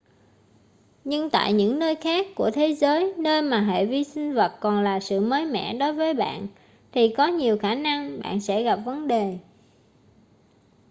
nhưng tại những nơi khác của thế giới nơi mà hệ vi sinh vật còn là sự mới mẻ đối với bạn thì có nhiều khả năng bạn sẽ gặp vấn đề